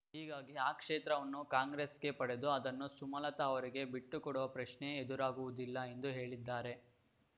ಹೀಗಾಗಿ ಆ ಕ್ಷೇತ್ರವನ್ನು ಕಾಂಗ್ರೆಸ್‌ಗೆ ಪಡೆದು ಅದನ್ನು ಸುಮಲತ ಅವರಿಗೆ ಬಿಟ್ಟುಕೊಡುವ ಪ್ರಶ್ನೆಯೇ ಎದುರಾಗುವುದಿಲ್ಲ ಎಂದು ಹೇಳಿದ್ದಾರೆ